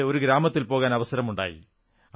എനിക്ക് ഒരു ഗ്രാമത്തിൽ പോകാൻ അവസരമുണ്ടായി